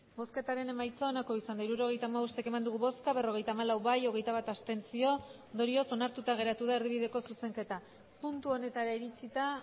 hirurogeita hamabost eman dugu bozka berrogeita hamalau bai hogeita bat abstentzio ondorioz onartuta geratu da erdibideko zuzenketa puntu honetara iritsita